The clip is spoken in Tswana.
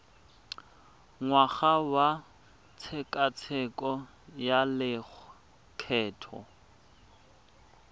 ngwaga wa tshekatsheko ya lokgetho